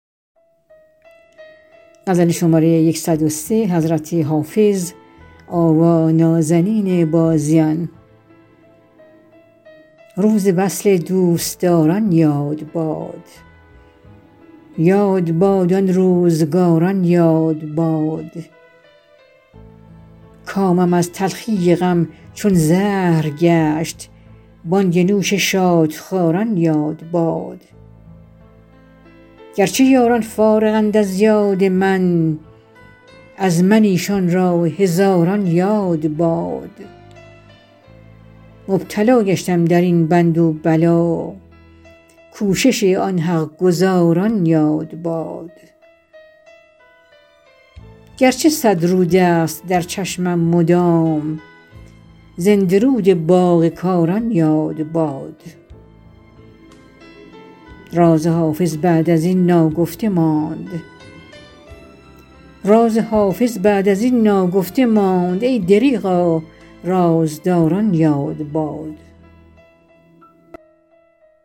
روز وصل دوستداران یاد باد یاد باد آن روزگاران یاد باد کامم از تلخی غم چون زهر گشت بانگ نوش شادخواران یاد باد گر چه یاران فارغند از یاد من از من ایشان را هزاران یاد باد مبتلا گشتم در این بند و بلا کوشش آن حق گزاران یاد باد گر چه صد رود است در چشمم مدام زنده رود باغ کاران یاد باد راز حافظ بعد از این ناگفته ماند ای دریغا رازداران یاد باد